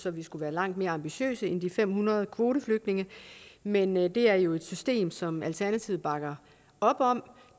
at vi skulle være langt mere ambitiøse end de fem hundrede kvoteflygtninge men men det er jo et system som alternativet bakker op om